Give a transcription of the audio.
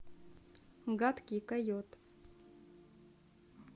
гадкий койот